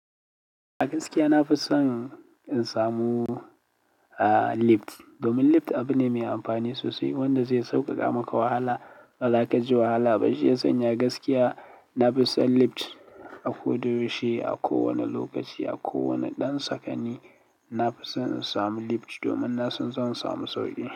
A gaskiya na fi son in samu, ah, lift. Domin lift abu ne mai amfani sosai wanda zai sauƙaƙa maka wahala ba za ka ji wahala ba. Shi ya sanya gaskiya na fi son lift. A ko da yaushe, a kowane lokaci, a kowane ɗan sakanni, na fi son in samu lift domin na san zan samu sauƙi.